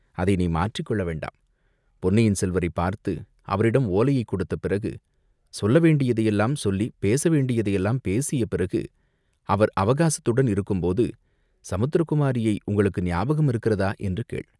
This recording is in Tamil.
அதை நீ மாற்றிக்கொள்ள வேண்டாம். பொன்னியின் செல்வரைப் பார்த்து அவரிடம் ஓலையைக் கொடுத்த பிறகு, சொல்ல வேண்டியதையெல்லாம் சொல்லிப் பேச வேண்டியதையெல்லாம் பேசிய பிறகு, அவர் அவகாசத்துடன் இருக்கும்போது சமுத்திர குமாரியை உங்களுக்கு ஞாபகம் இருக்கிறதா, என்று கேள்.